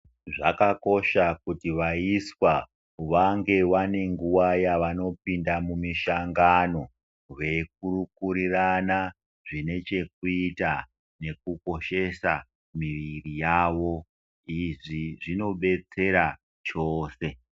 Zvakakosha kuti vaiswa vange vanenguva yavanopinda mumihlangano veikurukurirana zvinechekuita nekukoshesa miviri yavo. Izvi zvinobetsera chose.